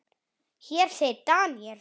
Hér segir Daniel